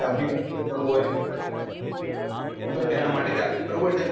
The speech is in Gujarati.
લાંબી tour પર જાવું હો તો તેના માટે ચાલે બરાબર છે